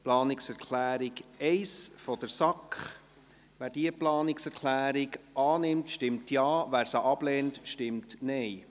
Zur Planungserklärung 1 der SAK: Wer diese Planungserklärung annimmt, stimmt Ja, wer diese ablehnt, stimmt Nein.